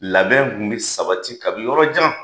Labɛn kun bɛ sabati kabini yɔrɔ jan!